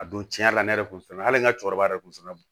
A don tiɲɛ yɛrɛ la ne yɛrɛ kun fana hali n ka cɛkɔrɔba yɛrɛ kun fana don